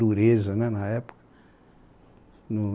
Dureza né na época, no